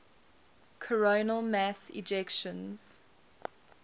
coronal mass ejections